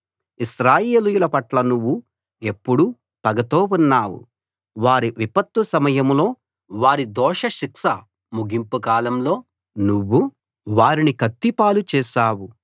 ఇశ్రాయేలీయుల పట్ల నువ్వు ఎప్పుడూ పగతో ఉన్నావు వారి విపత్తు సమయంలో వారి దోష శిక్ష ముగింపు కాలంలో నువ్వు వారిని కత్తి పాలు చేశావు